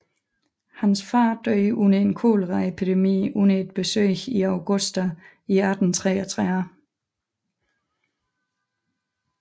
Hans far døde under en koleraepidemi under et besøg i Augusta i 1833